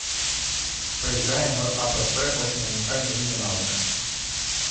поиграем в апп очень уникальное имя навыка